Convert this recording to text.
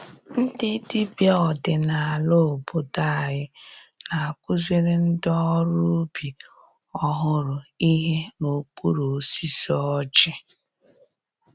Ndị dibịa ọdinala obodo anyị na-akụziri ndị ọrụ ubi ọhụrụ ihe n’okpuru osisi ọjị.